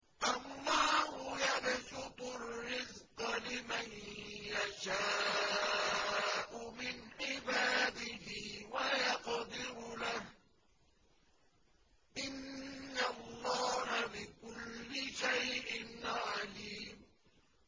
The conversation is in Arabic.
اللَّهُ يَبْسُطُ الرِّزْقَ لِمَن يَشَاءُ مِنْ عِبَادِهِ وَيَقْدِرُ لَهُ ۚ إِنَّ اللَّهَ بِكُلِّ شَيْءٍ عَلِيمٌ